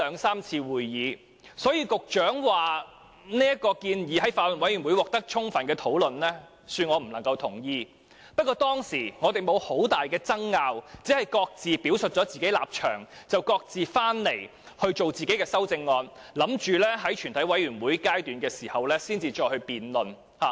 所以，局長說這項建議在法案委員會已獲得充分討論，恕我無法認同，但我們當時確實沒有太大爭拗，只各自表述了立場，然後各自草擬自己的修正案，打算於全體委員會審議階段才再進行辯論。